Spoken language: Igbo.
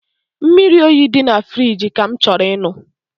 Mmiri oyi dị na firigi ka m chọrọ ịṅụ